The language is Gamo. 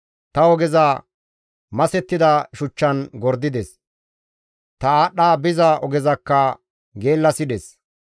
Ta ogeza masettida shuchchan gordides; ta aadhdha biza ogezakka geellasides.